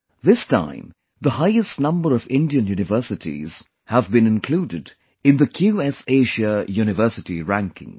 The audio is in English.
This time the highest number of Indian universities have been included in the QS Asia University Rankings